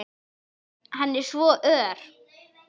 Hann er svo ör!